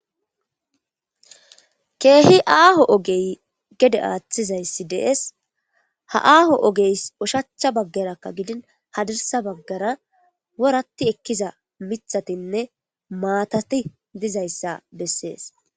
Keehi aaho ogey gede aaththizayssi de'es. Ha aaho ogeys ushachcha baggarakka gidin hadirsa baggara woratti ekkiza mithatinne maatati dizayssa bessees.